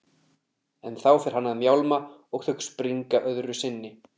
En þá fer hann að mjálma og þau springa öðru sinni.